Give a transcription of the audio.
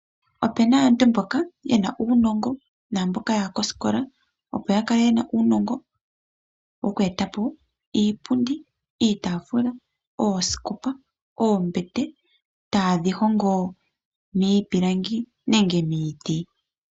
Opena aantu mboka yena uunongo naamboka ya ha kosikola opo ya kale yena uunongo wo ku eta po iipundi, iitaafula, oosikopa, oombete ta ye dhi hongo miipilangi nenge miiti.